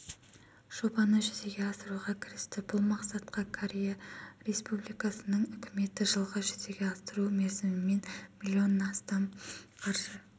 жобаны жүзеге асыруға кірісті бұл мақсатқа корея республикасыныңүкіметі жылға жүзеге асыру мерзімімен миллион астам қаржы